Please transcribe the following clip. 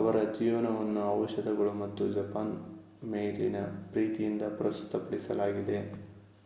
ಅವರ ಜೀವನವನ್ನು ಔಷಧಗಳು ಮತ್ತು ಜಪಾನ್ ಮೇಲಿನ ಪ್ರೀತಿಯಿಂದ ಪ್ರಸ್ತುತಪಡಿಸಲಾಗಿದೆ